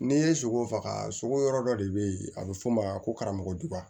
N'i ye sogo faga sogo yɔrɔ dɔ de bɛ ye a bɛ fɔ o ma ko karamɔgɔdugan